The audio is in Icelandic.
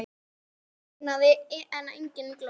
Í því logaði engin glóð.